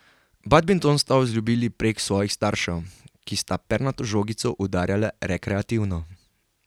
Badminton sta vzljubili prek svojih staršev, ki sta pernato žogico udarjala rekreativno.